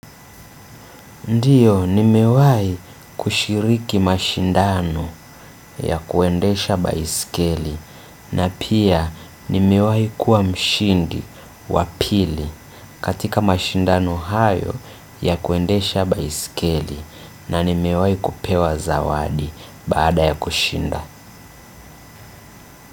Ndiyo ni miwai kushiriki mashindano ya kuendesha ba iskeli na pia ni miwai kuwa mshindi wa pili katika mashindano hayo ya kuendesha ba iskeli na ni mewahi kupewa zawadi baada ya kushinda.